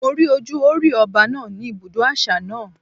Mo rí ojú Hórì Ọba náà ní ibi ibùdó àṣà náà.